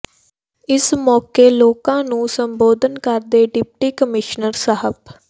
ਇਸ ਮੌਕੇ ਲੋਕਾਂ ਨੂੰ ਸੰਬੋਧਨ ਕਰਦੇ ਡਿਪਟੀ ਕਮਿਸ਼ਨਰ ਸ